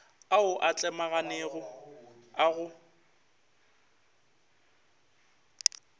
ao a tlemaganego a go